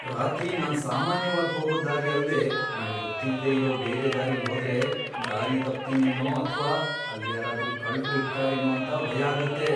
ರಾತ್ರಿ ನಾನ್ ಸಾಮಾನ್ಯವಾಗ್ ಹೋಗೋ ದಾರಿ ಅಲ್ದೇ ನಂಗ್ ಗೊತ್ತಿಲ್ದೇ ಇರೋ ಬೇರೆ ದಾರಿಲ್ ಹೋದ್ರೆ ದಾರಿ ತಪ್ತಿನೇನೋ ಅಥ್ವಾ ಅಲ್ಲ್ ಯಾರಾದ್ರೂ ಕಳ್ರು ಇರ್ತಾರೇನೋ ಅಂತ ಭಯ ಆಗತ್ತೆ.